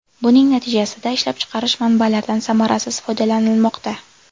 Buning natijasida ishlab chiqarish manbalardan samarasiz foydalanilmoqda.